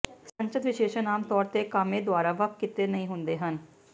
ਸੰਚਤ ਵਿਸ਼ੇਸ਼ਣ ਆਮ ਤੌਰ ਤੇ ਕਾਮੇ ਦੁਆਰਾ ਵੱਖ ਕੀਤੇ ਨਹੀਂ ਹੁੰਦੇ ਹਨ